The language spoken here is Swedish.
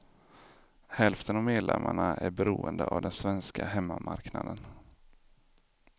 Hälften av medlemmarna är beroende av den svenska hemmamarknaden.